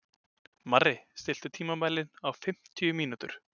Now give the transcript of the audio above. Marri, stilltu tímamælinn á fimmtíu mínútur.